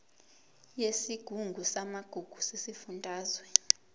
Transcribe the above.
yesigungu samagugu sesifundazwe